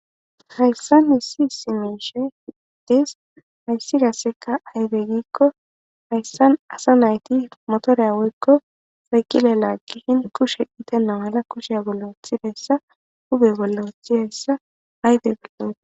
hayssa ni si simeshe dis hayssi kasseka aydegikko hayssan asa nayti motoreya woykko sayqile laagihin kushe itena mala kushiya bollothideyssa hube bollothi hayssa aydepillo